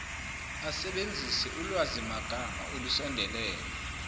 asebenzise ulwazimagama olusondelene